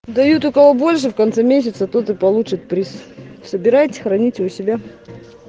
дают у кого больше в конце месяца тот и получит приз собирайте и храните у себя